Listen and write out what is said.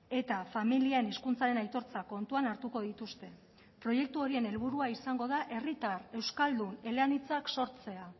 eta familien hizkuntzaren aitortza kontuan hartuko dituzte proiektu horien helburua izango da herritar euskaldun eleanitzak sortzea